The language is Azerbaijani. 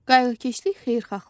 Qayğıkeşlik xeyirxahlıqdır.